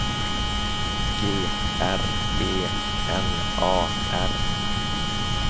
G R E N A R